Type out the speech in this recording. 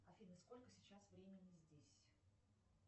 афина сколько сейчас времени здесь